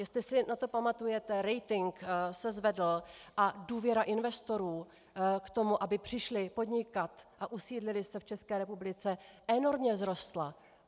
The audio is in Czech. Jestli si na to pamatujete, rating se zvedl a důvěra investorů k tomu, aby přišli podnikat a usídlili se v České republice, enormně vzrostla.